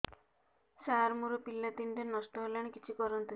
ସାର ମୋର ପିଲା ତିନିଟା ନଷ୍ଟ ହେଲାଣି କିଛି କରନ୍ତୁ